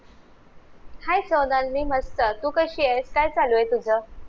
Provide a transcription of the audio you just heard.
hi सौंदागनी मस्त तू कशीयेस काय चालू ए तुज